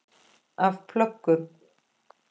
Af plöggum